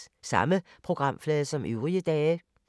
Samme programflade som øvrige dage